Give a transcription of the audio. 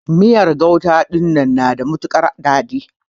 Miyan gauta dinnan yana da matukar dadi.